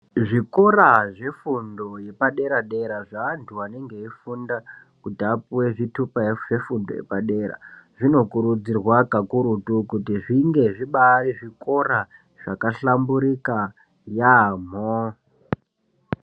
Zvikora zvefundo yepadera dera zvevantu vanenge veifunda kuti vapuwe zvitupa zvefundo yepadera zvino Vanokurudzirwa kakurutu kunge zvinge zvibari zvikora zvabahlamburuka yaambo.